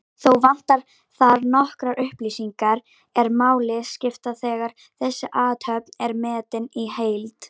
Þó vantar þar nokkrar upplýsingar er máli skipta þegar þessi athöfn er metin í heild.